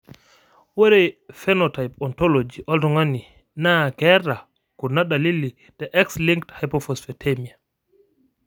Ore Phenotype Ontology oltung'ani naa keeta kuna dalili te X linked hypophosphatemia.